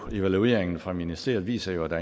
evalueringen fra ministeriet viser jo at der